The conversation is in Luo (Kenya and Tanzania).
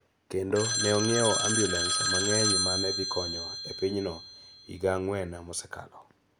kendo ne ong�iewo ambulens mang�eny ma ne dhi konyo e pinyno e higa ang�wen mosekalo.